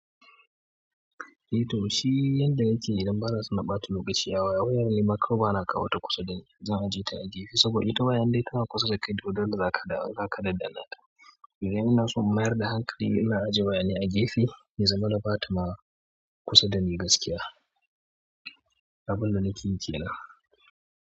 Eh to shi yanda yake idan ba na son na ɓata lokaci a waya zan nema kanwana a kawota kusa dani. Zan ajiye ta a gefe saboda ita wayan indai tana kusa da kai dole za ka danna ta. Idan ina so in mayar da hankali ina ajiye waya ne a gefe ya azama na ɓata ma kusa dani gaskiya. Abunda nake yi kenan.